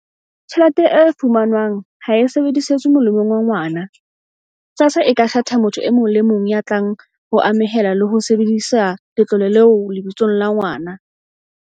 "tjhelete e fumanwang ha e sebedisetswe molemong wa ngwana, SASSA e ka kgetha motho e mong ya tlang ho amohela le ho sebedisa letlole leo lebitsong la ngwana."